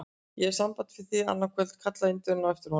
Ég hef samband við þig annað kvöld! kallaði Indverjinn á eftir honum.